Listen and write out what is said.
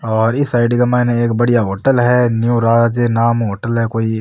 और इ साइड के मायने एक बढ़िया होटल है न्यू राज नाम हु होटल है कोई।